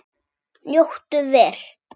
Njóttu vel.